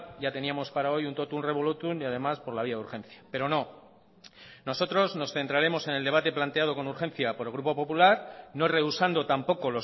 ya teníamos para hoy un totum revolútum y además por la vía de urgencia pero no nosotros nos centraremos en el debate planteado con urgencia por el grupo popular no rehusando tampoco